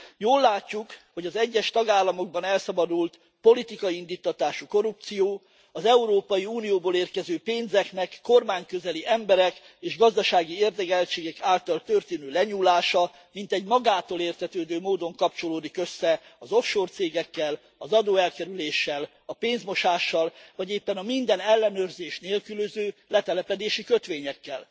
Jól látjuk, hogy az egyes tagállamokban elszabadult a politikai indíttatású korrupció, az Európai Unióból érkező pénzeknek kormány közeli emberek és gazdasági érdekeltségek által történő lenyúlása, és ez mintegy magától értetődő módon kapcsolódik össze az offshore cégekkel, az adóelkerüléssel, a pénzmosással, vagy éppen a minden ellenőrzést nélkülöző letelepedési kötvényekkel.